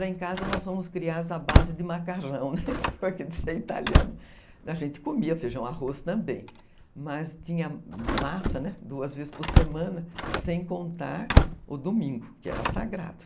Lá em casa nós fomos criados à base de macarrão, porque de ser italiano a gente comia feijão arroz também, mas tinha massa, né, duas vezes por semana, sem contar o domingo, que era sagrado.